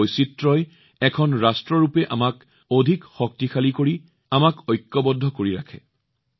এই বৈচিত্ৰ্য এই বিবিধতা এক ৰাষ্ট্ৰ হিচাপে আমাক অধিক শক্তিশালী কৰে আৰু আমাক ঐক্যবদ্ধ কৰি ৰাখে